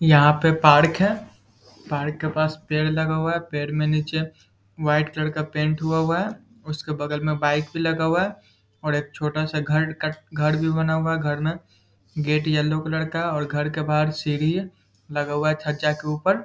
यहाँ पे पार्क है पार्क के पास पेड़ लगा हुआ है पेड़ के नीचे वाइट कलर का पेंट हुआ हुआ है उसके बगल में बाइक भी लगा हुआ है और एक छोटा सा घर का घर भी बना हुआ है घर में गेट है येल्लो कलर का और घर के बाहर सीढ़ी है लगा हुआ है छज्जा के ऊपर।